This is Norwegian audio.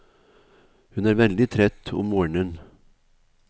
Hun er veldig trett om morgenen.